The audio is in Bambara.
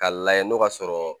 K'a lajɛ n'o ka sɔrɔ